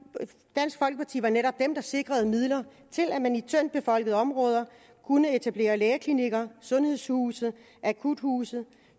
dansk folkeparti var netop dem der sikrede midler til at man i tyndt befolkede områder kunne etablere lægeklinikker sundhedshuse og akuthuse